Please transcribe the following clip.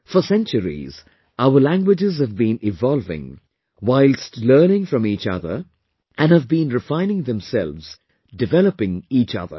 For centuries, our languages have been evolving whilst learning from each other and have been refining themselves, developing each other